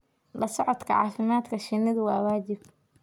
La socodka caafimaadka shinnidu waa waajib.